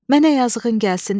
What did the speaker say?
Mənə yazığın gəlsin.